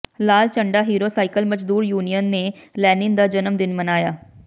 ਲਾਲ ਝੰਡਾ Hero cycle ਮਜ਼ਦੂਰ union ਨੇ ਲੈਨਿਨ ਦਾ ਜਨਮ ਦਿਨ ਮਨਾਇਆ